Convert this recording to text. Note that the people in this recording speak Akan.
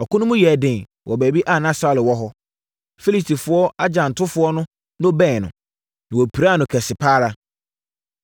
Ɔko no mu yɛɛ den wɔ baabi a na Saulo wɔ hɔ. Filistifoɔ agyantofoɔ no bɛn no, na wɔpiraa no kɛse pa ara.